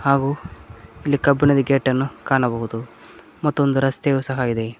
ಹಾಗು ಇಲ್ಲಿ ಕಬ್ಬಿಣದ ಗೇಟನ್ನು ಕಾಣಬಹುದು ಮತ್ತೊಂದು ರಸ್ತೆಯು ಸಹ ಇದೆ.